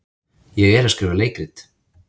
Ég er að skrifa leikrit.